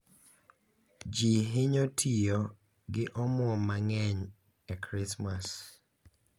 Ji hinyo tiyo gi omwom mang’eny e Krismas,